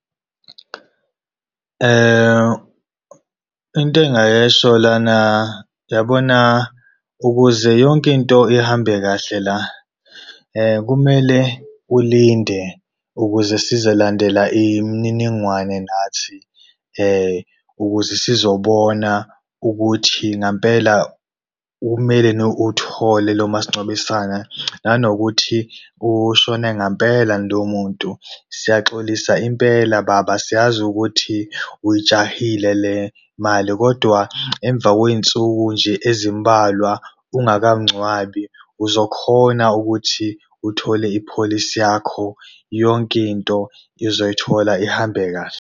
Into engayisho lana yabona ukuze yonkinto ihambe kahle la, kumele ulinde ukuze sizolandela imniningwane nathi ukuze sizobona ukuthi ngampela kumeleni uwuthole lo masingcwabisana, nanokuthi ushone ngampelani loyo muntu. Siyaxolisa impela baba, siyazi ukuthi uyijahile le mali kodwa emva kwey'nsuku nje ezimbalwa ungakamngcwabi uzokhona ukuthi uthole i-policy yakho, yonkinto izoyithola ihambe kahle.